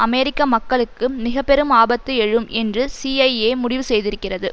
அமெரிக்க மக்களுக்கு மிக பெரும் ஆபத்து எழும் என்று சிஐஏமுடிவு செய்திருக்கிறது